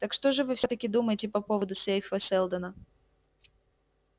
так что же вы всё-таки думаете по поводу сейфа сэлдона